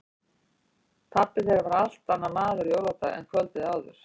Pabbi þeirra var allt annar maður á jóladag en kvöldið áður.